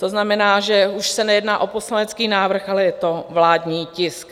To znamená, že už se nejedná o poslanecký návrh, ale je to vládní tisk.